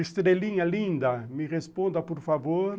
Estrelinha linda, me responda por favor.